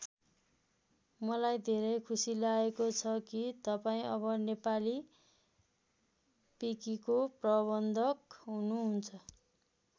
मलाई धेरै खुसी लागेको छ कि तपाईँ अब नेपाली विकिको प्रबन्धक हुनुहुन्छ।